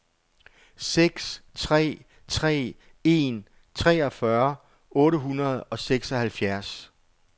seks tre tre en treogfyrre otte hundrede og seksoghalvfjerds